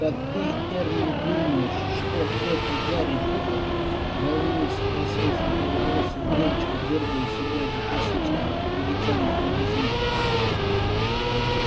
так ты эрни думаешь что это гарри поттер волнуясь спросила светловолосая девочка дёргая себя за косички перетянутые резинками